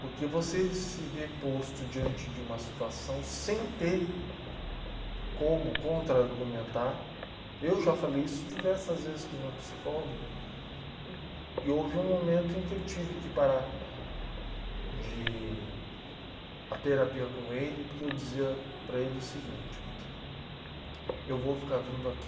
Porque você se ver posto diante de uma situação sem ter como contra-argumentar, eu já falei isso diversas vezes com o meu psicólogo... Uhum... E houve um momento em que eu tive que parar de a terapia com ele, porque eu dizia para ele o seguinte, eu vou ficar vindo aqui